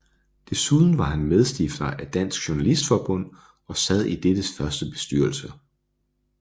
Desuden var han medstifter af Dansk Journalistforbund og sad i dettes første bestyrelse